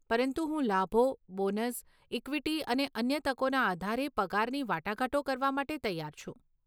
પરંતુ હું લાભો, બોનસ, ઇક્વિટી અને અન્ય તકોના આધારે પગારની વાટાઘાટો કરવા માટે તૈયાર છું.